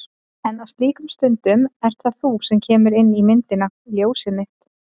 En á slíkum stundum ert það þú sem kemur inn í myndina. ljósið mitt.